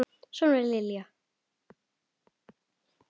Svona var Lilja.